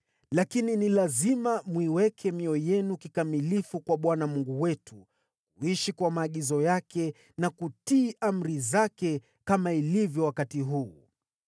Lakini ni lazima mwiweke mioyo yenu kikamilifu kwa Bwana Mungu wetu, kuishi kwa maagizo yake na kutii amri zake, kama ilivyo wakati huu.”